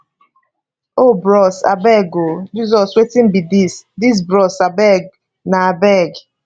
oh bros abeg oh jesus wetin be dis dis bros abeg na abeg